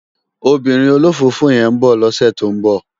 Òbìrín ólófófó yèn n bò lòsè tó n bò